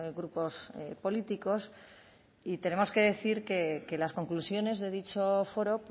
grupos políticos y tenemos que decir que las conclusiones de dicho foro